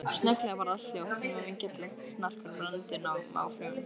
Snögglega varð allt hljótt, nema vingjarnlegt snark frá brennandi móflögum.